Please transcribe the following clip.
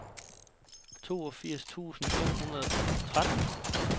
toogfirs tusind fem hundrede og tretten